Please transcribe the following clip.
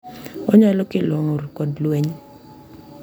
Onyalo kelo ng’ur kod lweny.